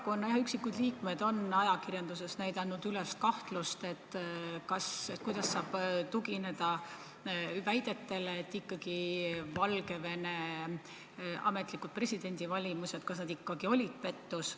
Mõningad teie erakonna liikmed on ajakirjanduses näidanud üles kahtlust, kas ja kuidas saab tugineda väidetele, et Valgevene ametlikud presidendivalimised olid ikkagi pettus.